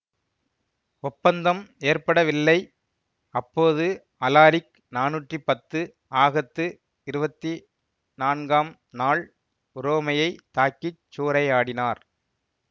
ஒப்பந்தம் ஏற்படவில்லை அப்போது அலாரிக் நானூத்தி பத்து ஆகத்து இருவத்தி நான்காம் நாள் உரோமையைத் தாக்கிச் சூறையாடினார்